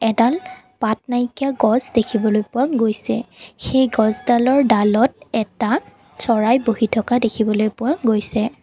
এডাল পাত নাইকিয়া গছ দেখিবলৈ পোৱা গৈছে সেই গছডালৰ ডালত এটা চৰাই বহি থকা দেখিবলৈ পোৱা গৈছে।